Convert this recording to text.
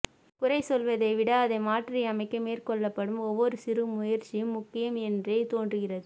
குறை சொல்வதை விட அதை மாற்றியமைக்க மேற்கொள்ளப்படும் ஒவ்வொரு சிறுமுயற்சியும் முக்கியம் என்றே தோன்றுகிறது